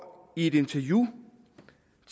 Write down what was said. i et interview